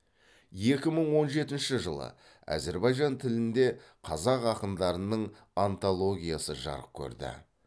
екі мың он жетінші жылы әзербайжан тілінде қазақ ақындарының антологиясы жарық көрді